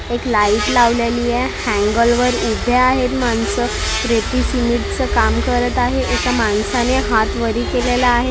एक लाईट लावलेलीये अँगल वर उभे आहेत माणसं प्रीती सिमेंट च काम करत आहे एका माणसाने हात वरी केलेला आहे.